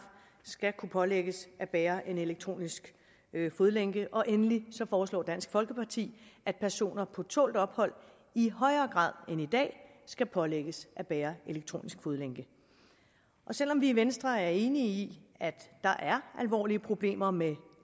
skal kunne pålægges at bære en elektronisk fodlænke og endelig foreslår dansk folkeparti at personer på tålt ophold i højere grad end i dag skal pålægges at bære elektronisk fodlænke selv om vi i venstre er enige i at der er alvorlige problemer med